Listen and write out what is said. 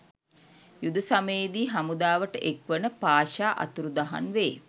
යුද සමයේදී හමුදාවට එක්වන පාෂා අතුරුදහන් වේ.